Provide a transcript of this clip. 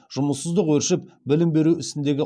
жұмыссыздық өршіп білім беру ісіндегі